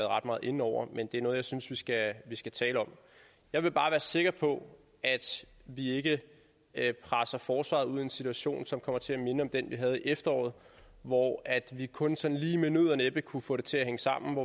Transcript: ret meget inde over men det er noget jeg synes vi skal skal tale om jeg vil bare være sikker på at vi ikke presser forsvaret ud i en situation som kommer til at minde om den vi havde i efteråret hvor vi kun sådan lige med nød og næppe kunne få det til at hænge sammen